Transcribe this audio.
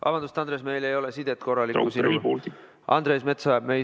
Vabandust, Andres, meil ei ole sinuga korralikku sidet.